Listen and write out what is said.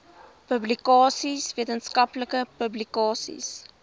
publikasies wetenskaplike publikasies